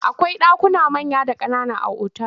Akwai ɗakuna manya da ƙanana a otal.